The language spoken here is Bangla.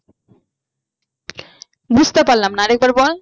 বুঝতে পারলাম না আর একবার বল